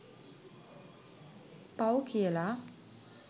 පව් කියලා